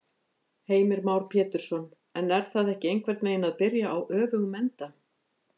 Heimir Már Pétursson: En er það ekki einhvern veginn að byrja á öfugum enda?